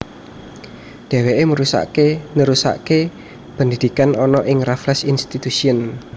Dheweke nerusake pendidikan ana ing Raffles Institution